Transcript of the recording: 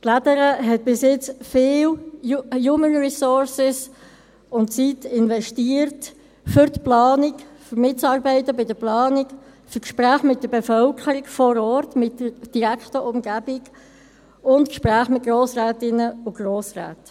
Die «Lädere» hat bis jetzt viele Human Resources und Zeit investiert für die Planung, um mitzuarbeiten bei der Planung, für Gespräche mit der Bevölkerung vor Ort, mit der direkten Umgebung und für Gespräche mit Grossrätinnen und Grossräten.